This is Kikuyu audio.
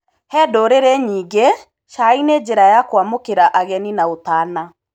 He ndũrĩrĩ nyingĩ cai nĩ njira ya kwamũkĩra ageni na ũtana.